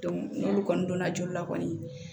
n'olu kɔni donna joli la kɔni